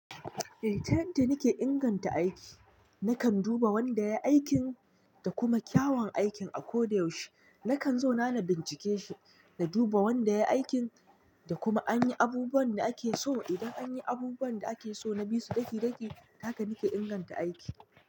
Eh, tun da nike inganta aiki, nakan duba wanda ya yi aikin da kuma kyawan aikin a ko da yaushe. Nakan zauna na bincike shi, na duba wanda yayi aikin da kuma an yi abubuwan da ake so. Idan an yi abubuwan da ake so na bisu daki-daki, haka nike inganta aiki.